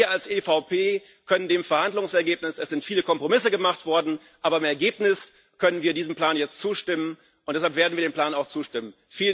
Wir als EVP können dem Verhandlungsergebnis zustimmen. Es sind viele Kompromisse gemacht worden, aber im Ergebnis können wir diesem Plan jetzt zustimmen, und deshalb werden wir dem Plan auch zustimmen.